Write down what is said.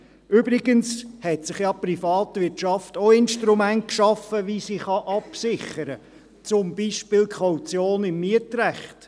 Übrigens hat sich ja die Privatwirtschaft auch Instrumente geschaffen, um sich abzusichern, wie zum Beispiel die Kaution im Mietrecht.